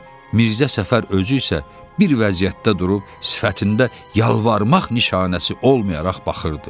Mirzə Səfər özü isə bir vəziyyətdə durub sifətində yalvarmaq nişanəsi olmayaraq baxırdı.